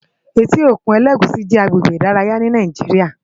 Éti ókún Elegushi jè àgbégbé idàráyá ni Nàijiriá